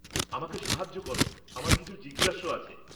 আমাকে সাহায্য কর, আমার কিছু জিজ্ঞাস্য আছে।